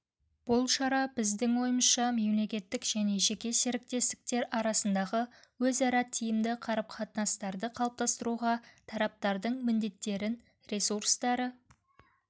бұл шара біздің ойымызша мемлекеттік және жеке серіктестер арасындағы өзара тиімді қарым-қатынастарды қалыптастыруға тараптардың міндеттерін ресурстары